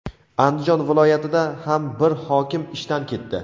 Andijon viloyatida ham bir hokim ishdan ketdi.